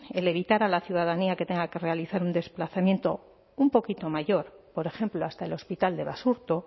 el evitar a la ciudadanía que tenga que realizar un desplazamiento un poquito mayor por ejemplo hasta el hospital de basurto